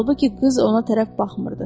Halbuki qız ona tərəf baxmırdı.